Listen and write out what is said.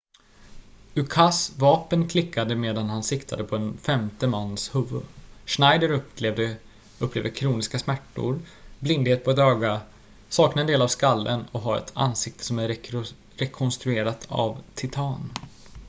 ukas vapen klickade medan han siktade på en femte mans huvud schneider upplever kroniska smärtor blindhet på ett öga saknar en del av skallen och har ett ansiktet som är rekonstruerat av titan